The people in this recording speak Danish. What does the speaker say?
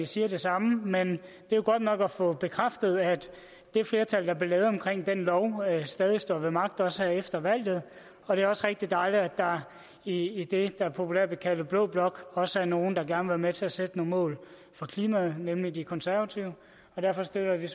siger det samme men det er godt nok at få bekræftet at det flertal der blev skabt omkring den lov stadig står ved magt også efter valget og det er rigtig dejligt at der i det der populært bliver kaldt blå blok også er nogle der gerne med til at sætte nogle mål for klimaet nemlig de konservative derfor støtter